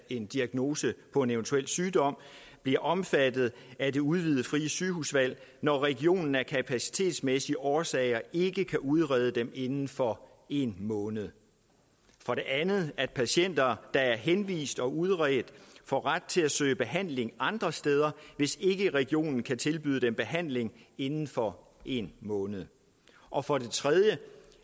en diagnose på en eventuel sygdom bliver omfattet af det udvidede frie sygehusvalg når regionen af kapacitetsmæssige årsager ikke kan udrede dem inden for en måned for det andet at patienter der er henvist og udredt får ret til at søge behandling andre steder hvis ikke regionen kan tilbyde dem behandling inden for en måned og for det tredje